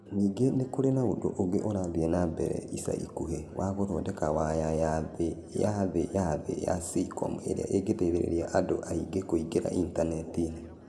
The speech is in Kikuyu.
Ningĩ nĩ kũrĩ na ũndũ ũngĩ ũrathiĩ na mbere ica ikuhĩ, wa gũthondeka waya ya thĩ ya thĩ ya thĩ ya SEACOM ĩrĩa ĩngĩteithia andũ aingĩ kũingĩra Intaneti-inĩ.